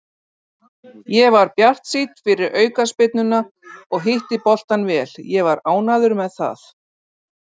Ég var bjartsýnn fyrir aukaspyrnuna og hitti boltann vel, ég var ánægður með það.